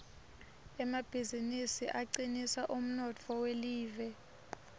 emabizinisi acinisa umnotfo welive